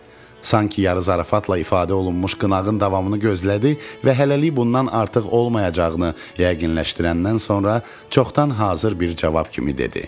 Sanki yarı zarafatla ifadə olunmuş qınağın davamını gözlədi və hələlik bundan artıq olmayacağını yəqinləşdirəndən sonra çoxdan hazır bir cavab kimi dedi: